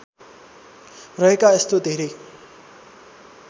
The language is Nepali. रहेका यस्तो धेरै